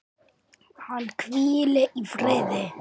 Hann hvíli í friði.